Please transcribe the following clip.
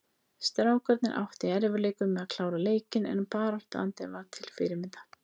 Strákarnir áttu í erfiðleikum með að klára leikinn en baráttuandinn var til fyrirmyndar.